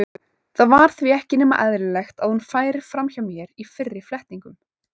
Það var því ekki nema eðlilegt að hún færi fram hjá mér í fyrri flettingum.